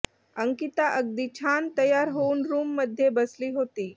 अंकीता अगदी छान तयार होऊन रूममध्ये बसली होती